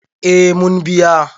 eh mun biya